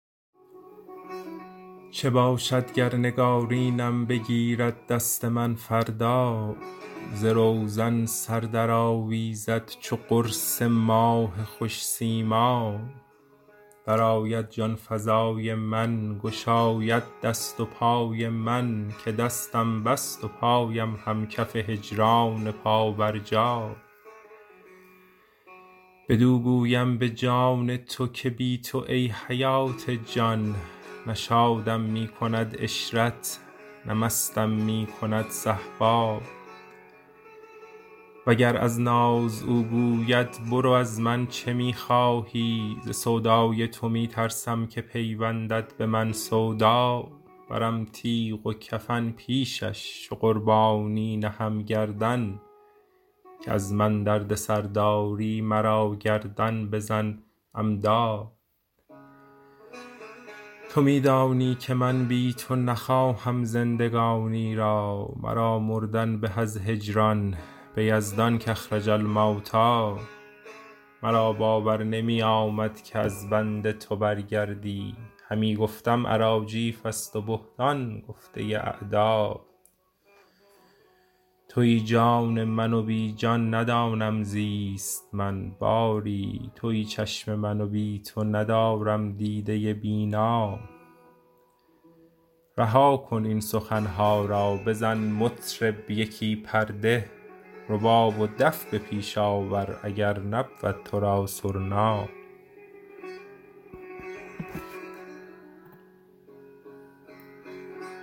چه باشد گر نگارینم بگیرد دست من فردا ز روزن سر درآویزد چو قرص ماه خوش سیما درآید جان فزای من گشاید دست و پای من که دستم بست و پایم هم کف هجران پابرجا بدو گویم به جان تو که بی تو ای حیات جان نه شادم می کند عشرت نه مستم می کند صهبا وگر از ناز او گوید برو از من چه می خواهی ز سودای تو می ترسم که پیوندد به من سودا برم تیغ و کفن پیشش چو قربانی نهم گردن که از من دردسر داری مرا گردن بزن عمدا تو می دانی که من بی تو نخواهم زندگانی را مرا مردن به از هجران به یزدان کاخرج الموتی مرا باور نمی آمد که از بنده تو برگردی همی گفتم اراجیفست و بهتان گفته اعدا توی جان من و بی جان ندانم زیست من باری توی چشم من و بی تو ندارم دیده بینا رها کن این سخن ها را بزن مطرب یکی پرده رباب و دف به پیش آور اگر نبود تو را سرنا